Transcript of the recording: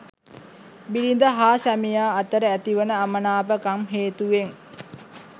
බිරිඳ හා සැමියා අතර ඇතිවන අමනාපකම් හේතුවෙන්